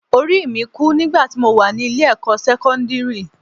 Orí mi kú nígbà tí mo wà ní ilé-ẹ̀kọ́ sẹ́kọ́ndírì